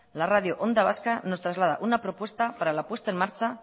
la radio onda vasca nos traslada una propuesta para la puesta en marcha